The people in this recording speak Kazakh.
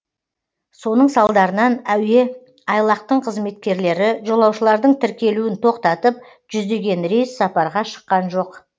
соның салдарынан әуе айлақтың қызметкерлері жолаушылардың тіркелуін тоқтатып жүздеген рейс сапарға шыққан жоқ